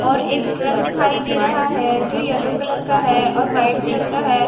और एक ट्रक दिखाई दे रहा है जो येलो कलर का है और वाइट कलर का है।